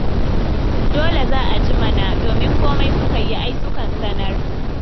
Dole za a ji mana, domin komai suka yi ai sukan sanar.